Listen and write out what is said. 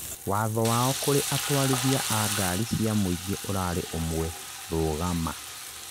watho wao kũrĩ atwarithia a ngari cia mũingĩ ũrari ũmwe: "rugama!